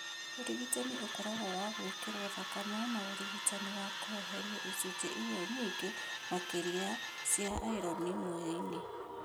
ũrigitani ũkoragũo wa gwĩkĩrwo thakame na ũrigitani wa kweheria icunjĩ iria nyingĩ makĩria cia iron mwĩrĩ-inĩ.